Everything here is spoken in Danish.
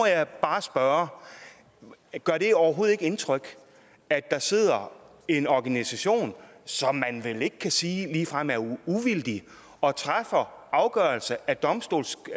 jeg bare spørge gør det overhovedet ikke indtryk at der sidder en organisation som man vel ikke kan sige ligefrem er uvildig og træffer afgørelser af domstolsagtig